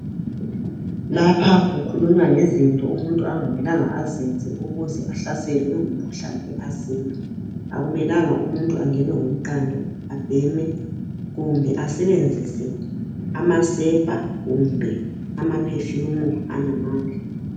Lapha kukhulunywa ngezinto umuntu angamelanga azenze ukuze ahlaselwe ngumkhuhlane we asima. Akumelanga umuntu angenwe ngumqando abheme kumbe asebenzise amasepa kumbe amaphefumu anamandla.